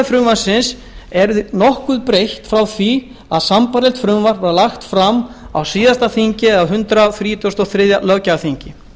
frumvarpsins eru nokkuð breytt frá því að sambærilegt frumvarp var lagt fram á hundrað þrítugasta og þriðja löggjafarþingi